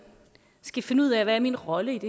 skal finde ud af hvad ens rolle